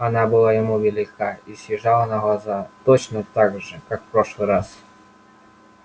она была ему велика и съезжала на глаза точно так же как в прошлый раз